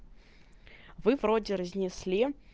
вы вроде разнесли